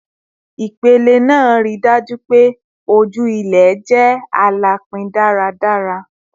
Ipele naa rii daju pe oju ilẹ jẹ alapin daradara